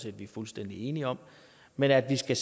at vi er fuldstændig enige om men at der skal